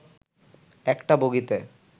একটা বগিতে